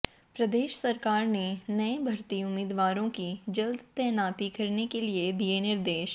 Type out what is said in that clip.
प्रदेश सरकार ने नए भर्ती उम्मीदवारों की जल्द तैनाती करने के लिए दिए निर्देश